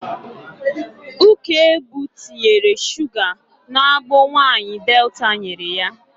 Ukegbu tinyere shuga n'agbo nwaanyị Delta nyere ya.